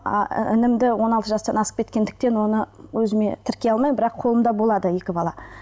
а інімді оны алты жастан асып кеткендіктен оны өзіме тіркей алмаймын бірақ қолымда болады екі бала